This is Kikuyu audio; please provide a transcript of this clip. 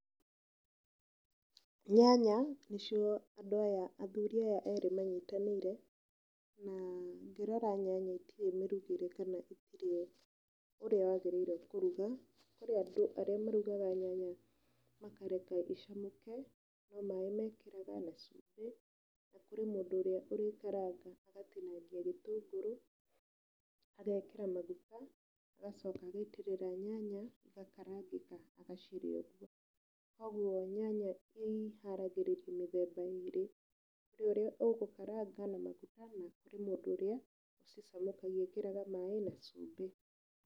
Nyanya nĩcio andũ aya, athuri aya erĩ manyitanĩire, na ngĩrora nyanya itiri mirugĩre kana itiri ũrĩa wagĩrĩirwo nĩ kũruga. Kũrĩ andũ arĩa marugaga nyanya makareka icamũke, no maaĩ mekĩraga na cumbĩ, kũrĩ mũndũ ũrĩa ũrĩkaranga agatinangia gĩtũngũrũ, agekĩra maguta agacoka agaitĩrĩra nyanya ĩgakarangĩka agacirĩa ũgũo. Koguo nyanya ciharagĩrĩrio mĩthemba ĩrĩ. Kũrĩ ũrĩa ũgũkaranga na magũta na kũrĩ mũndũ ũrĩa ũcicamũkagia, ekĩraga maaĩ na cumbi.